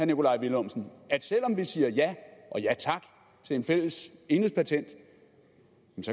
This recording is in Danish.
nikolaj villumsen at selv om vi siger ja og ja tak til et fælles enhedspatent